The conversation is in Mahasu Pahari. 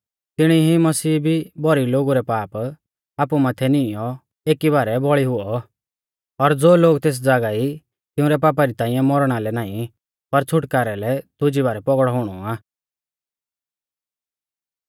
तिणी ई मसीहा भी भौरी लोगु रै पाप आपु माथै निईंयौ एकी बारै बौल़ी हुऔ और ज़ो लोग तेस ज़ागा ई तिउंरै पापा री ताइंऐ मौरणा लै नाईं पर छ़ुटकारै लै दुजी बारै पौगड़ौ हुणौ आ